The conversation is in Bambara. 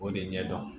O de ɲɛ dɔn